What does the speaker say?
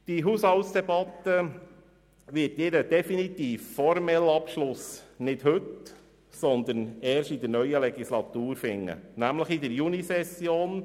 Diese Haushaltsdebatte wird ihren definitiven, formellen Abschluss nicht heute, sondern erst in der neuen Legislaturperiode finden, nämlich in der Junisession.